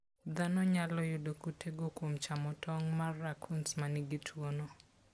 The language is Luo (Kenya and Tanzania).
Dhano nyalo yudo kutego kuom chamo tong' mar raccoons ma nigi tuwono.